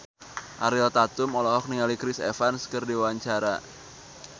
Ariel Tatum olohok ningali Chris Evans keur diwawancara